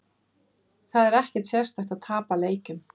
Það er ekkert sérstakt að tapa leikjum.